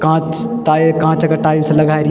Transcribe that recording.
कांच टाई कांच का टाइल्स लगाई री।